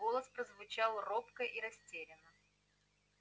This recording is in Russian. голос прозвучал робко и растерянно